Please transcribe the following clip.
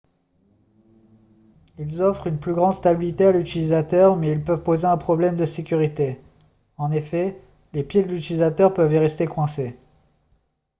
ils offrent une plus grande stabilité à l'utilisateur mais ils peuvent poser un problème de sécurité en effet les pieds de l'utilisateur peuvent y rester coincés